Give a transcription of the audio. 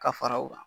Ka fara u kan